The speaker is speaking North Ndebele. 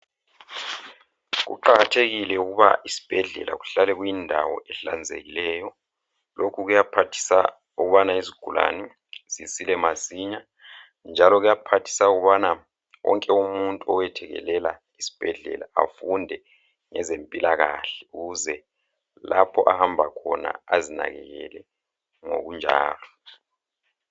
Kuqakathekile ukuba isibhedlela kuhlale kuyindawo ehlanzekileyo. Lokhu kuyaphathisa ukubana izigulane zisile masinya njalo kuyaphathisa ukubana wonke umuntu oyethekelela isibhedlela afunde ngezempilakahle ukuze lapho ahamba khona ezinakekele ngokunjalo.